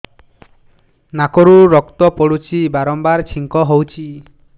ନାକରୁ ରକ୍ତ ପଡୁଛି ବାରମ୍ବାର ଛିଙ୍କ ହଉଚି